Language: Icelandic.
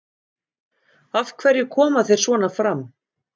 Af hverju koma þeir svona fram?